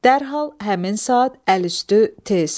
Dərhal, həmin saat, əl üstü, tez.